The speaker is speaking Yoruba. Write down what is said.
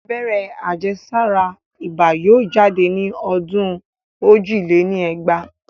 Abẹ́rẹ́ àjẹ́sára ibà yóò jáde ní ọdún ojì lé ní ẹgbàá